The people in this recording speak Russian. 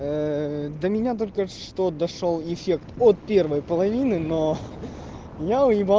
ээ до меня только что дошёл эффект от первой половины но я уебал